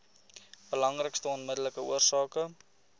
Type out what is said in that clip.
belangrikste onmiddellike oorsake